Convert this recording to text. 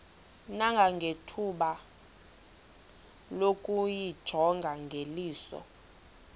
nangethuba lokuyijonga ngeliso